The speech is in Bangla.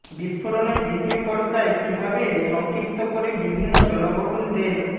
বিস্ম্ফোরণের দ্বিতীয় পর্যায় কীভাবে সংক্ষিপ্ত করে বিভিন্ন জনবহুল দেশ